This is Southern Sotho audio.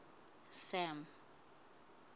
sam